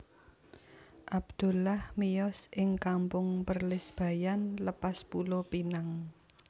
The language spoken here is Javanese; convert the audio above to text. Abdullah miyos ing Kampung Perlis Bayan Lepas Pulo Pinang